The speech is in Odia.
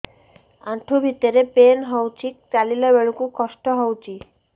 ଆଣ୍ଠୁ ଭିତରେ ପେନ୍ ହଉଚି ଚାଲିଲା ବେଳକୁ କଷ୍ଟ ହଉଚି